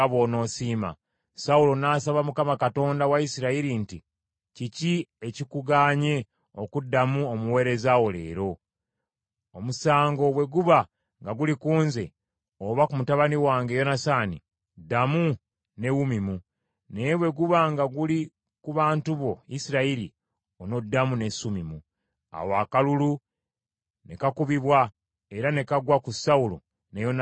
Sawulo n’asaba Mukama Katonda wa Isirayiri nti, “Kiki ekikugaanye okuddamu omuweereza wo leero? Omusango bwe guba nga guli ku nze oba ku mutabani wange Yonasaani ddamu ne Wumimu, naye bwe guba nga guli ku bantu bo Isirayiri, onaddamu ne Sumimu.” Awo akalulu ne kakubibwa era ne kagwa ku Sawulo ne Yonasaani mutabani we.